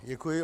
Děkuji.